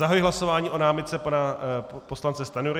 Zahajuji hlasování o námitce pana poslance Stanjury.